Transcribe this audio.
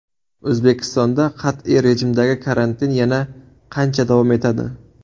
O‘zbekistonda qat’iy rejimdagi karantin yana qancha davom etadi?